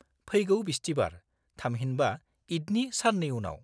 फैगौ बिस्तिबार, थामहिनबा ईदनि सान्नै उनाव।